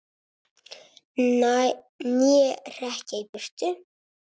Né hrekja í burt!